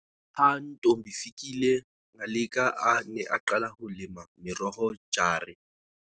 Ha Ntombifikile Ngaleka a ne a qala ho lema meroho jare-.